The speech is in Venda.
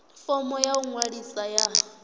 fomo ya u ḓiṅwalisa ya